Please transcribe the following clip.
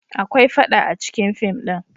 Akwai faɗa acikin fim din.